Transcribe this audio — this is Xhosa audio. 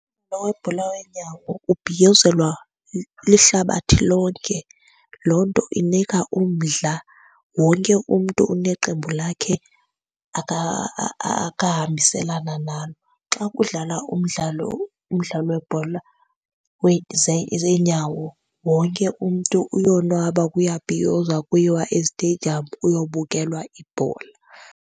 webhola weenyawo ubhiyozelwa lihlabathi lonke, loo nto inika umdla. Wonke umntu uneqembu lakhe akahambiselana nalo. Xa kudlala umdlalo, umdlalo webhola zeenyawo wonke umntu uyonwaba, kuyabhiyozwa kuyiwa eziteyidiyamu kuyobukelwa ibhola.